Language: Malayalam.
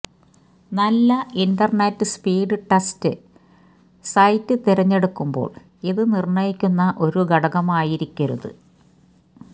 നല്ല ഇന്റർനെറ്റ് സ്പീഡ് ടെസ്റ്റ് സൈറ്റ് തിരഞ്ഞെടുക്കുമ്പോൾ ഇതു നിർണയിക്കുന്ന ഒരു ഘടകമായിരിക്കരുത്